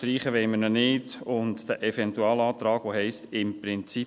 Streichen wollen wir ihn nicht, und den Eventualantrag, der heisst «im Prinzip» …